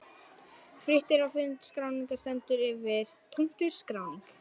Frítt er á fundinn og skráning stendur yfir. SKRÁNING